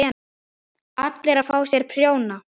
ALLIR AÐ FÁ SÉR PRJÓNA!